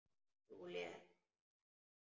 Júlía er þannig.